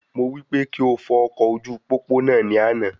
Mo wí pé kí o fọ ọkọ̀ ojú pópó náà ní àna